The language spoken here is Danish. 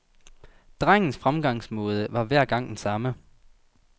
Drengens fremgangsmåde var hver gang den samme.